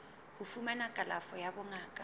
ho fumana kalafo ya bongaka